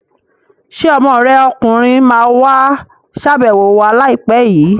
Ṣé ọmọ rẹ ọkùnrin ma wá ṣàbẹ̀wọ̀ wa láìpẹ́ l?